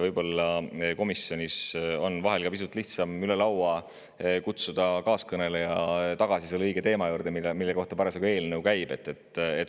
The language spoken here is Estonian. Võib-olla komisjonis on vahel pisut lihtsam kutsuda üle laua kaaskõneleja tagasi selle õige teema juurde, mille kohta parasjagu eelnõu käib.